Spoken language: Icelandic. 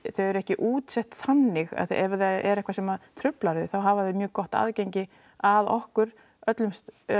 þau eru ekki útsett þannig ef það er eitthvað sem truflar þau þá hafa þau mjög gott aðgengi að okkur öllum